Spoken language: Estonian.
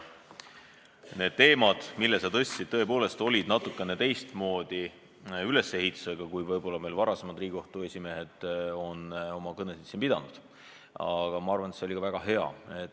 Need teemad, mis sa tõstatasid, olid tõepoolest natukene teistmoodi ülesehitusega kui kõned, mida Riigikohtu esimehed varem on siin pidanud, aga ma arvan, et see oli väga hea.